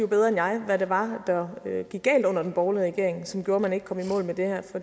bedre jeg hvad det var der gik galt under den borgerlige regering og som gjorde at man ikke kom i mål med det her